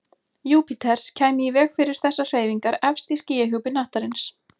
Júpíters kæmi í veg fyrir þessar hreyfingar efst í skýjahjúpi hnattarins.